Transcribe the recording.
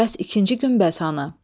Bəs ikinci günbəz hanı?